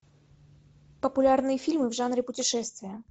популярные фильмы в жанре путешествия